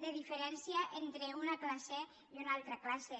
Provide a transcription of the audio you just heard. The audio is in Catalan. de diferència entre una classe i una altra classe